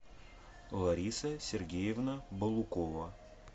лариса сергеевна балукова